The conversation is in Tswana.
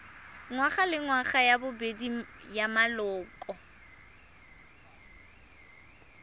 ngwagalengwaga ya bobedi ya maloko